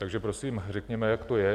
Takže prosím řekněme, jak to je.